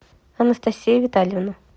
анастасия витальевна